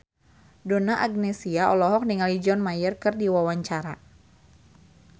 Donna Agnesia olohok ningali John Mayer keur diwawancara